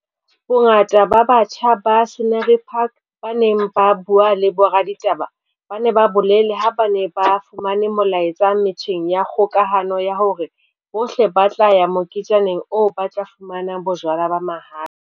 Bongata ba batjha ba Scenery Park ba neng ba bue le boraditaba ba ne ba bolele ha ba ne ba fumane molaetsa metjheng ya kgokahano ya hore bohle ba tla ya moketjaneng oo ba tla fumana jwala ba mahala.